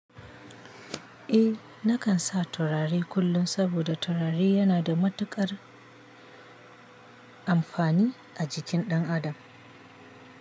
Eh nakan sa turare kullum saboda turare yana da matuƙar amfani a jikin ɗan adam.